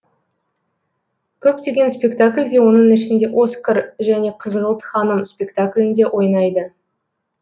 көптеген спектакльде оның ішінде оскар және қызғылт ханым спектаклінде ойнайды